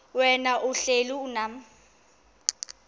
wena uhlel unam